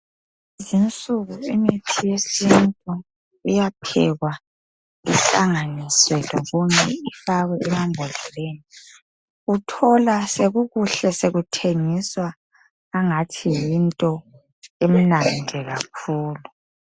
Kulezinsuku imithi yesithi iyaphekwa ihlanganiswe lokunye ifakwe emabhodleleni, uthole sokukuhle sokuthengiswa engathi yinto emnandi kakhulu.